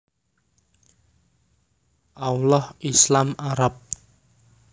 Allah Islam Arab